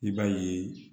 I b'a ye